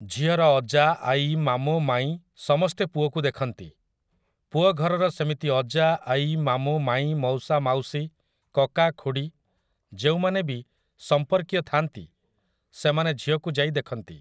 ଝିଅର ଅଜା, ଆଈ, ମାମୁଁ, ମାଇଁ ସମସ୍ତେ ପୁଅକୁ ଦେଖନ୍ତି । ପୁଅ ଘରର ସେମିତି ଅଜା, ଆଈ, ମାମୁଁ, ମାଇଁ, ମଉସା, ମାଉସୀ, କକା, ଖୁଡ଼ୀ, ଯେଉଁମାନେ ବି ସମ୍ପର୍କୀୟ ଥାଆନ୍ତି ସେମାନେ ଝିଅକୁ ଯାଇ ଦେଖନ୍ତି ।